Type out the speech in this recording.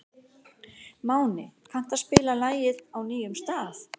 Máni, kanntu að spila lagið „Á nýjum stað“?